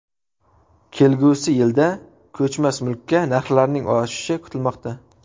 Kelgusi yilda ko‘chmas mulkka narxlarning oshishi kutilmoqda.